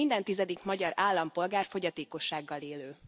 Minden tizedik magyar állampolgár fogyatékossággal élő.